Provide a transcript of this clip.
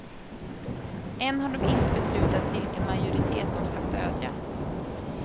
Än har de inte beslutat vilken majoritet de ska stödja.